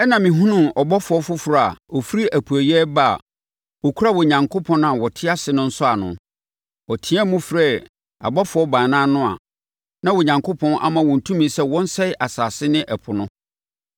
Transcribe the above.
Ɛnna mehunuu ɔbɔfoɔ foforɔ a ɔfiri apueeɛ reba a ɔkura Onyankopɔn a ɔte ase no nsɔano. Ɔteaam frɛɛ abɔfoɔ baanan no a na Onyankopɔn ama wɔn tumi sɛ wɔnsɛe asase ne ɛpo no.